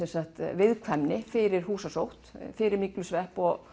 viðkvæmni fyrir húsasótt fyrir myglusvepp og